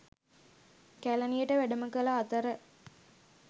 කැලණියට වැඩම කළ අතර